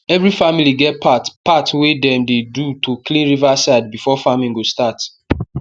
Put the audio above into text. every familly get part part wey dem dey do to clean river side before farming go start